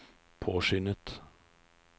påskyndet